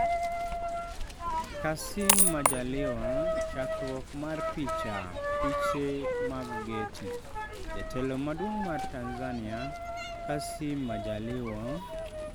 Kassim Majaliwa chakruok mar picha, piche mag Getty, jatelo maduong' mar Tanzania Kassim Majaliwa